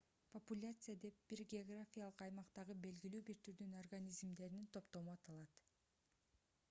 популяция деп бир географиялык аймактагы белгилүү бир түрдүн организмдеринин топтому аталат